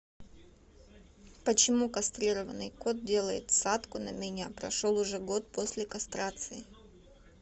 почему кастрированный кот делает садку на меня прошел уже год после кастрации